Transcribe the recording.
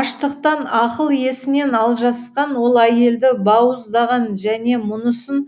аштықтан ақыл есінен алжасқан ол әйелді бауыздаған және мұнысын